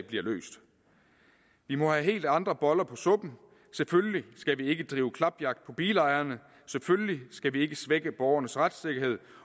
bliver løst vi må have helt andre boller på suppen selvfølgelig skal vi ikke drive klapjagt på bilejerne selvfølgelig skal vi ikke svække borgernes retssikkerhed